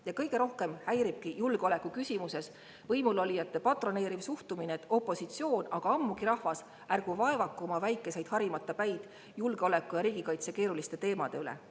Ja kõige rohkem häiribki julgeoleku küsimuses võimulolijate patroneeriv suhtumine, et opositsioon, aga ammugi rahvas, ärgu vaevaku oma väikeseid harimata päid julgeoleku ja riigikaitse keeruliste teemade üle.